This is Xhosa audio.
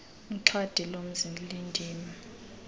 xhadi lomzi lindim